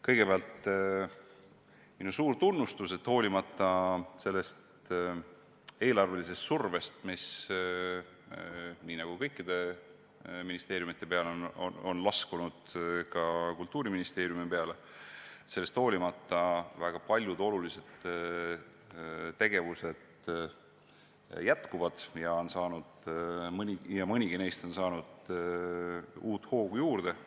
Kõigepealt minu suur tunnustus, et hoolimata eelarvelisest survest, mis nii nagu kõikide ministeeriumide peale, on laskunud ka Kultuuriministeeriumi peale, väga paljud olulised tegevused jätkuvad ja mõnigi neist on saanud uut hoogu juurde.